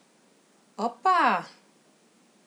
Opa ...